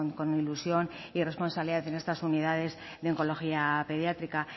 con ilusión y responsabilidad en estas unidades de oncología pediátrica